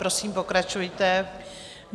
Prosím, pokračujte.